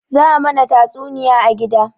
Za a mana tastunniya a gida